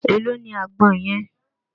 Èló ni àgbọn yẹn?